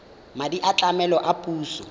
madi a tlamelo a puso